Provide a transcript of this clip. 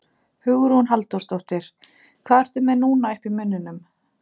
Hugrún Halldórsdóttir: Hvað ertu með núna uppi í munninum?